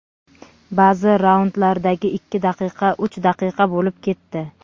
Ba’zi raundlardagi ikki daqiqa uch daqiqa bo‘lib ketdi.